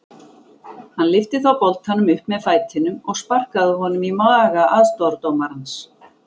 Hann lyfti þá boltanum upp með fætinum og sparkaði honum í maga aðstoðardómarans.